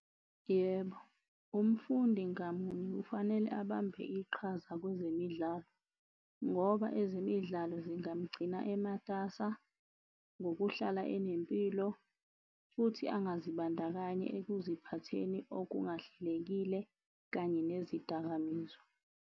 Yebo, umfundi ngamunye kufanele abambe iqhaza kwezemidlalo ngoba ezemidlalo zingamgcina ematasa ngokuhlala enempilo, futhi angazibandakanyi ekuziphatheni okungahlekile kanye nezidakamizwa.